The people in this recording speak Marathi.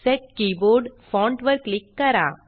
सेट कीबोर्ड फॉन्ट वर क्लिक करा